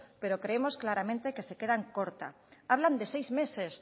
pero creemos claramente que se queda corta hablan de seis meses